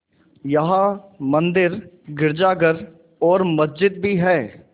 यहाँ मंदिर गिरजाघर और मस्जिद भी हैं